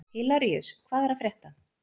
Hilaríus, hvað er að frétta?